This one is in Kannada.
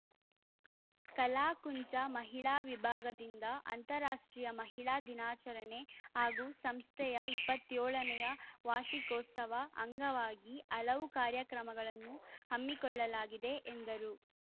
ಕಲಾಕುಂಚ ಮಹಿಳಾ ವಿಭಾಗದಿಂದ ಅಂತರಾಷ್ಟ್ರೀಯ ಮಹಿಳಾ ದಿನಾಚರಣೆ ಹಾಗೂ ಸಂಸ್ಥೆಯ ಇಪ್ಪತ್ತ್ ಏಳ ನೇ ವಾರ್ಷಿಕೋತ್ಸವ ಅಂಗವಾಗಿ ಹಲವು ಕಾರ್ಯಕ್ರಮಗಳನ್ನು ಹಮ್ಮಿಕೊಳ್ಳಲಾಗಿದೆ ಎಂದರು